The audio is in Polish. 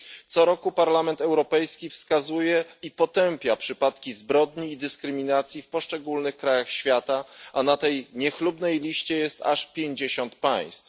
Co roku Parlament Europejski wskazuje i potępia przypadki zbrodni i dyskryminacji w poszczególnych krajach świata, a na tej niechlubnej liście jest aż pięćdziesiąt państw.